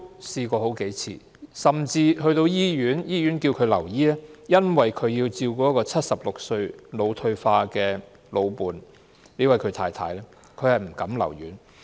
甚至醫院要求他留醫，他卻因為要照顧76歲患腦退化症的老伴——他的太太——而不敢留院。